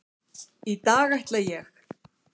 Í dag ætla ég.